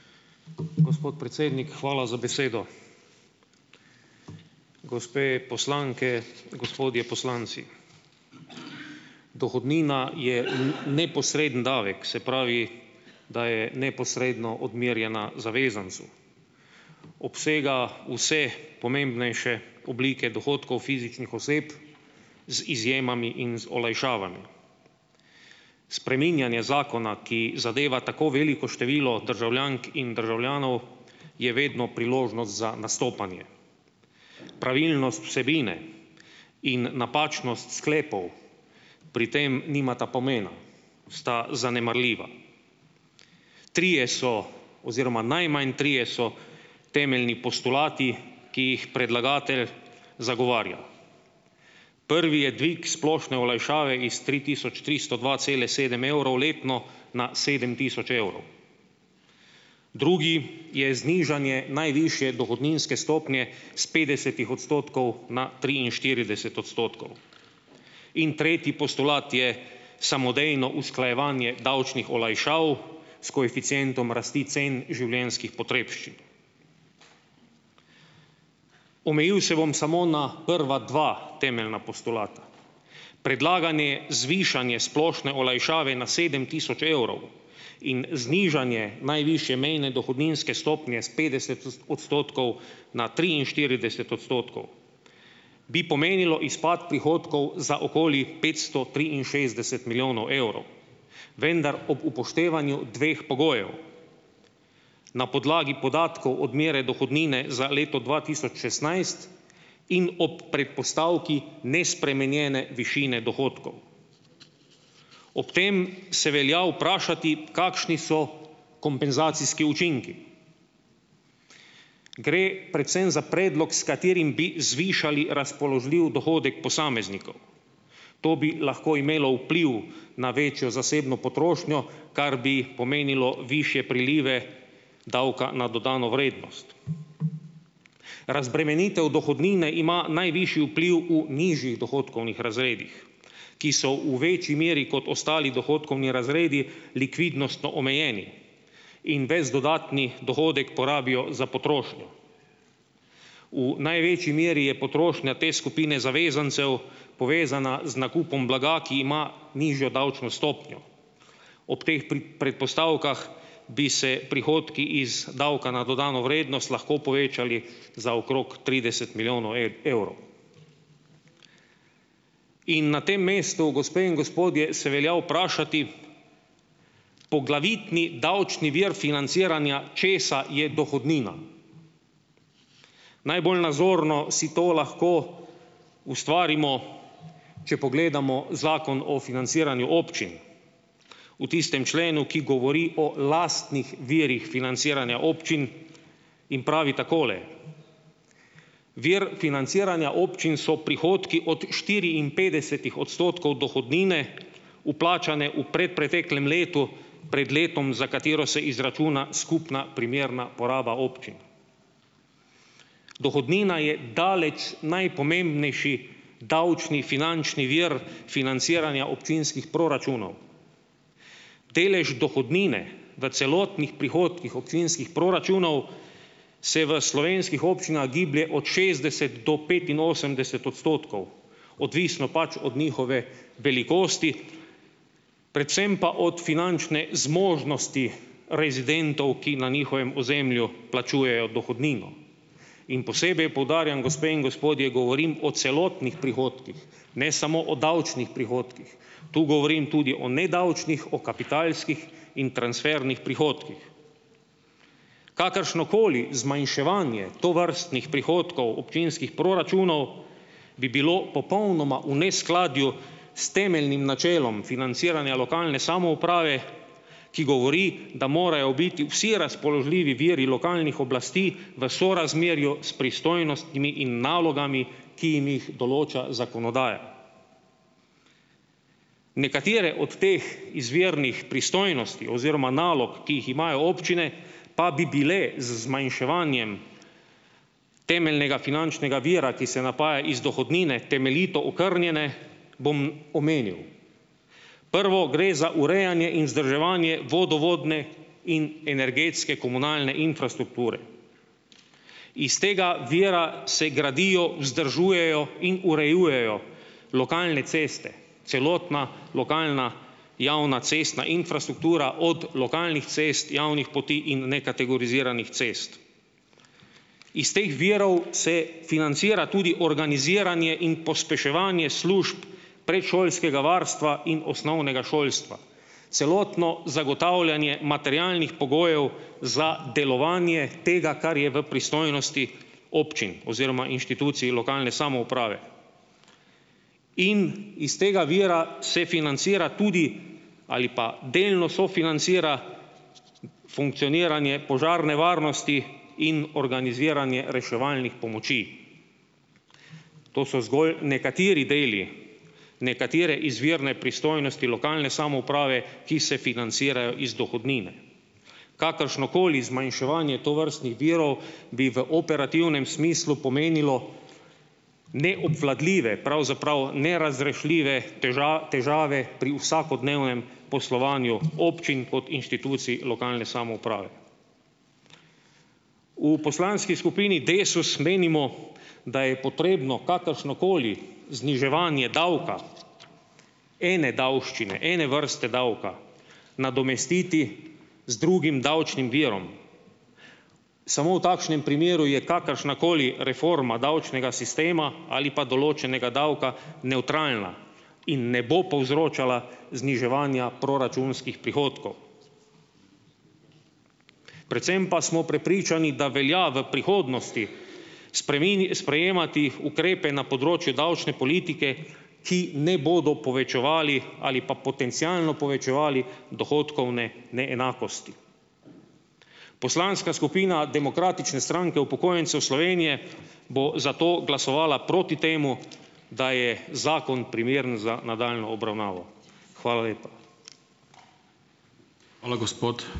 Gospod predsednik, hvala za besedo. Gospe poslanke, gospodje poslanci! Dohodnina je v neposredni davek, se pravi, da je neposredno odmerjena zavezancu. Obsega vse pomembnejše oblike dohodkov fizičnih oseb, z izjemami in z olajšavami. Spreminjanje zakona, ki zadeva tako veliko število državljank in državljanov, je vedno priložnost za nastopanje. Pravilnost vsebine in napačnost sklepov pri tem nimata pomena, sta zanemarljiva. Trije so oziroma najmanj trije so temeljni postulati, ki jih predlagatelj zagovarja: prvi je dvig splošne olajšave iz tri tisoč tristo dva cele sedem evrov letno na sedem tisoč evrov, drugi je znižanje najvišje dohodninske stopnje s petdesetih odstotkov na triinštirideset odstotkov; in tretji postulat je samodejno usklajevanje davčnih olajšav s koeficientom rasti cen življenjskih potrebščin. Omejil se bom samo na prva dva temeljna postulata. Predlaganje zvišanje splošne olajšave na sedem tisoč evrov in znižanje najvišje mejne dohodninske stopnje s petdeset odstotkov na triinštirideset odstotkov bi pomenilo izpad prihodkov za okoli petsto triinšestdeset milijonov evrov, vendar ob upoštevanju dveh pogojev: na podlagi podatkov odmere dohodnine za leto dva tisoč šestnajst in ob predpostavki nespremenjene višine dohodkov. Ob tem se velja vprašati, kakšni so kompenzacijski učinki. Gre predvsem za predlog, s katerim bi zvišali razpoložljiv dohodek posameznikov; to bi lahko imelo vpliv na večjo zasebno potrošnjo, kar bi pomenilo višje prilive davka na dodano vrednost. Razbremenitev dohodnine ima najvišji vpliv v nižjih dohodkovnih razredih, ki so v večji meri kot ostali dohodkovni razredi likvidnostno omejeni in ves dodatni dohodek porabijo za potrošnjo. V največji meri je potrošnja te skupine zavezancev povezana z nakupom blaga, ki ima nižjo davčno stopnjo. Ob teh predpostavkah bi se prihodki iz davka na dodano vrednost lahko povečali za okrog trideset milijonov evrov. In na tem mestu, gospe in gospodje, se velja vprašati, poglavitni davčni vir financiranja česa je dohodnina. Najbolj nazorno si to lahko ustvarimo, če pogledamo Zakon o financiranju občin, v tistem členu, ki govori o lastnih virih financiranja občin in pravi takole: "Vir financiranja občin so prihodki od štiriinpetdesetih odstotkov dohodnine, vplačane v predpreteklem letu pred letom, za katero se izračuna skupna primerna poraba občin." Dohodnina je daleč najpomembnejši davčni finančni vir financiranja občinskih proračunov. Delež dohodnine v celotnih prihodkih občinskih proračunov se v slovenskih občinah giblje od šestdeset do petinosemdeset odstotkov, odvisno pač od njihove velikosti, predvsem pa od finančne zmožnosti rezidentov, ki na njihovem ozemlju plačujejo dohodnino. In posebej poudarjam, gospe in gospodje, govorim o celotnih prihodkih, ne samo o davčnih prihodkih, tu govorim tudi o nedavčnih, o kapitalskih in transfernih prihodkih. Kakršnokoli zmanjševanje tovrstnih prihodkov občinskih proračunov bi bilo popolnoma v neskladju s temeljnim načelom financiranja lokalne samouprave, ki govori, da morajo biti vsi razpoložljivi viri lokalnih oblasti v sorazmerju s pristojnostmi in nalogami, ki jim jih določa zakonodaja. Nekatere od teh izvirnih pristojnosti oziroma nalog, ki jih imajo občine, pa bi bile z zmanjševanjem temeljnega finančnega vira, ki se napaja iz dohodnine, temeljito okrnjene, bom omenil. Prvo gre za urejanje in vzdrževanje vodovodne in energetske komunalne infrastrukture. Is tega vira se gradijo, vzdržujejo in urejujejo lokalne ceste. Celotna lokalna javna cestna infrastruktura, od lokalnih cest, javnih poti in nekategoriziranih cest. Iz teh virov se financira tudi organiziranje in pospeševanje služb predšolskega varstva in osnovnega šolstva. Celotno zagotavljanje materialnih pogojev za delovanje tega, kar je v pristojnosti občin oziroma inštitucij lokalne samouprave. In iz tega vira se financira tudi, ali pa delno sofinancira, funkcioniranje požarne varnosti in organiziranje reševalnih pomoči. To so zgolj nekateri deli, nekatere izvirne pristojnosti lokalne samouprave, ki se financirajo iz dohodnine. Kakršnokoli zmanjševanje tovrstnih virov, bi v operativnem smislu pomenilo neobvladljive, pravzaprav nerazrešljive težave pri vsakodnevnem poslovanju občin kot inštitucij lokalne samouprave. V poslanski skupini Desus menimo, da je potrebno kakršnokoli zniževanje davka, ene davščine, ene vrste davka nadomestiti z drugim davčnim virom. Samo v takšnem primeru je kakršnakoli reforma davčnega sistema ali pa določenega davka nevtralna in ne bo povzročala zniževanja proračunskih prihodkov. Predvsem pa smo prepričani, da velja v prihodnosti sprejemati ukrepe na področju davčne politike, ki ne bodo povečevali ali pa potencialno povečevali dohodkovne neenakosti. Poslanska skupina Demokratične stranke upokojencev Slovenije bo zato glasovala proti temu, da je zakon primeren za nadaljnjo obravnavo. Hvala lepa.